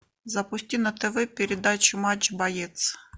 запусти на тв передачу матч боец